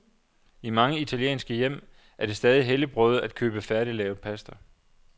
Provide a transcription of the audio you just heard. I mange italienske hjem er det stadig helligbrøde at købe færdiglavet pasta.